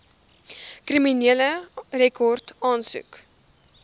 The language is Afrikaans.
kriminele rekord aansoek